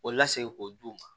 O lasegin k'o d'u ma